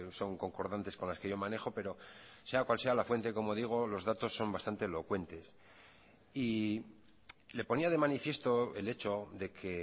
son concordantes con las que yo manejo pero sea cual sea la fuente como digo los datos son bastante elocuentes y le ponía de manifiesto el hecho de que